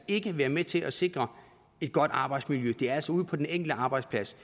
ikke være med til at sikre et godt arbejdsmiljø det er altså ude på den enkelte arbejdsplads